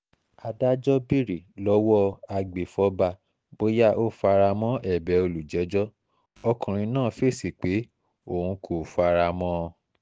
adájọ́ béèrè lọ́wọ́ agbèfọ́ba bóyá ó fara mọ́ ẹ̀bẹ̀ olùjẹ́jọ́ ọkùnrin náà fèsì pé òun kò fara mọ́ ọn